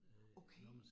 Okay